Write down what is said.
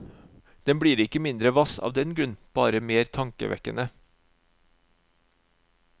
Den blir ikke mindre hvass av den grunn, bare mer tankevekkende.